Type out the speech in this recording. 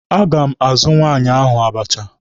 A ga m azụ nwaanyị ahụ abacha.